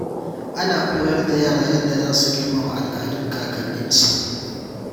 Ana koyar da yara yadda za su girmama al’adun kakanninsu.